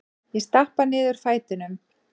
Ég stappa niður fætinum.